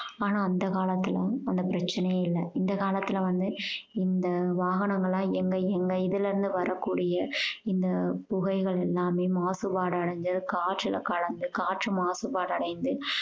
ஆனா அந்த காலத்துல அந்த பிரச்சனையே இல்ல இந்த காலத்துல வந்து இந்த வாகனங்கள் எல்லாம் எங்க எங்க இதிலிருந்து வரக்கூடிய இந்த புகைகள் எல்லாமே மாசுபாடு அடைந்து காற்றுல கலந்து காற்று மாசுபாடு அடைந்து